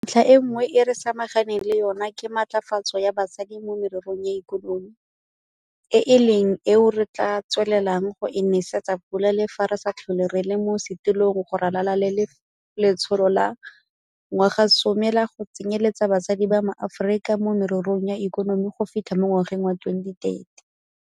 Ntlha e nngwe e re samaganeng le yona ke matlafatso ya basadi mo mererong ya ikonomi, e leng eo re tla tswelelang go e nesetsa pula le fa re sa tlhole re le mo setilong go ralala le Letsholo la Ngwagasome la go Tsenyeletsa Basadi ba MaAforika mo Mererong ya Ikonomi go fitlha mo ngwageng wa 2030.